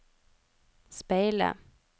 speile